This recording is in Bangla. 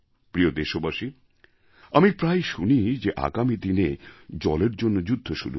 প্রিয় দেশবাসী আমি প্রায়ই শুনি আগামী দিনে জলের জন্য যুদ্ধ শুরু হবে